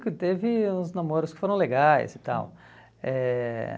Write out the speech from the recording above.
teve uns namoros que foram legais e tal. Eh